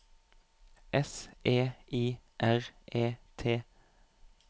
S E I R E T